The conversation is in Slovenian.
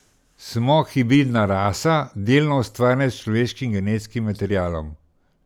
Smo hibridna rasa, delno ustvarjena s človeškim genetskim materialom.